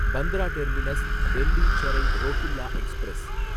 Bandra terminus Delhi Sarai Rohilla express